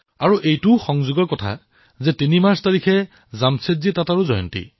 আচৰিত কথা এয়েই যে ৩ মাৰ্চত জামছেদজী টাটাৰো জয়ন্তী